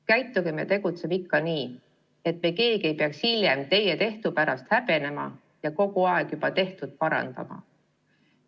Käitugem ja tegutsegem ikka nii, et me keegi ei peaks hiljem teie tehtu pärast häbenema ja kogu aeg juba tehtut parandama!